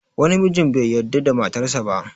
Wani mijin bai yarda da matar sa ba